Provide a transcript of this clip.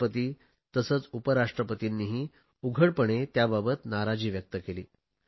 राष्ट्रपती तसेच उपराष्ट्रपतींनीही उघडपणे त्याबाबत नाराजी व्यक्त केली